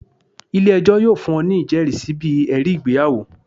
ile-ẹjọ yoo fun ọ ni ijẹrisi bi ẹri igbeyawo.